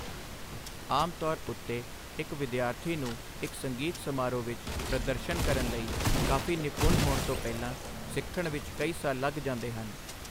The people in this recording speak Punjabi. ਆਮ ਤੌਰ ਉੱਤੇ ਇੱਕ ਵਿਦਿਆਰਥੀ ਨੂੰ ਇੱਕ ਸੰਗੀਤ ਸਮਾਰੋਹ ਵਿੱਚ ਪ੍ਰਦਰਸ਼ਨ ਕਰਨ ਲਈ ਕਾਫ਼ੀ ਨਿਪੁੰਨ ਹੋਣ ਤੋਂ ਪਹਿਲਾਂ ਸਿੱਖਣ ਵਿੱਚ ਕਈ ਸਾਲ ਲੱਗ ਜਾਂਦੇ ਹਨ।